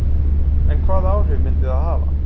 En hvaða áhrif myndi það hafa?